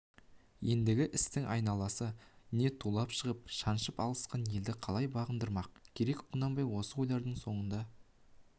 ендігі істің айласы не тулап шығып шаншып алысқан елді қалай бағындырмақ керек құнанбай осы ойлардың соңында